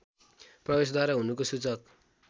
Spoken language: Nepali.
प्रवेशद्वार हुनुको सूचक